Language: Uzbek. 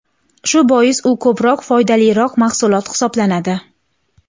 Shu bois u ko‘proq foydaliroq mahsulot hisoblanadi.